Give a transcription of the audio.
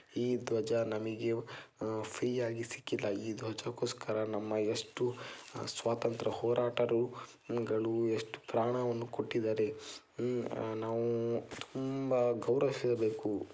ಈ ಧ್ವಜ ಗೋಸ್ಕರ ನಮ್ಮ ಎಷ್ಟು ಸ್ವಾತಂತ್ರ್ಯ ಹೋರಾಟರು ಎಷ್ಟು ಪ್ರಾಣವನ್ನು ಕೊಟ್ಟಿದ್ದಾರೆ ನಾವು ತುಂಬಾ ಗೌರವಿಸಬೇಕು.